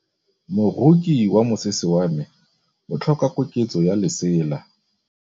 Moroki wa mosese wa me o tlhoka koketsô ya lesela.